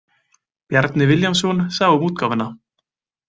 Bjarni Vilhjálmsson sá um útgáfuna.